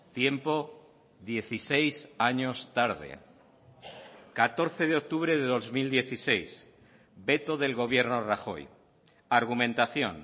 tiempo dieciséis años tarde catorce de octubre de dos mil dieciséis veto del gobierno rajoy argumentación